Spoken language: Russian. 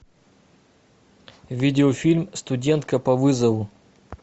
видеофильм студентка по вызову